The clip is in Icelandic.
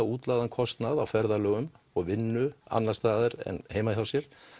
útlagðan kostnað á ferðalögum og vinnu annars staðar en heima hjá sér